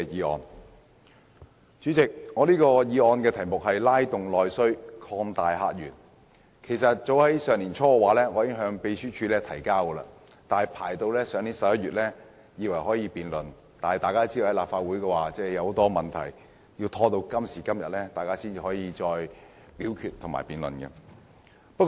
代理主席，這項題為"拉動內需擴大客源"的議案其實早於上年年初提交秘書處，去年11月我以為終於可以進行辯論，但大家都知道，立法會發生了很多問題，直至今天才可以進行辯論和表決。